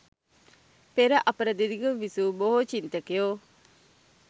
පෙර අපර දෙදිගම විසූ බොහෝ චින්තකයෝ